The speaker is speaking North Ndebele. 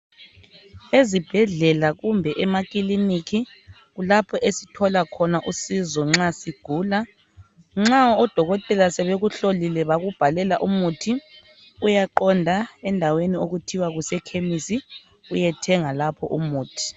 Ezibhedlela kumbe emakilinika kulapho esithola khona usizo nxa sigula. Nxa odokotela sebekuhlolile bakubhalela umuthi uyaqonda endaweni okuthiwa kuseKhemisi uyethenga lapho umuthi.